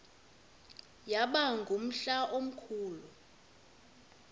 yaba ngumhla omkhulu